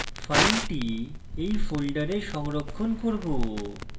file we folder সংরক্ষণ করব